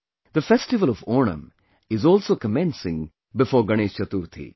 The festival of Onam is also commencing before Ganesh Chaturthi